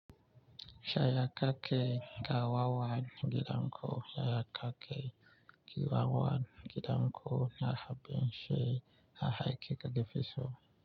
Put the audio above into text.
Yaya kake kawawan gidanƙo yaya cake kawawan gidanƙo na haba she hahai keke fesho.